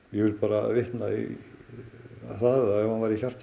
ég vil bara vitna í það að ef hann væri